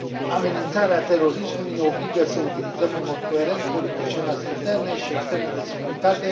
Amenințarea terorismului ne obligă să utilizăm în mod coerent politicile noastre interne și externe de securitate.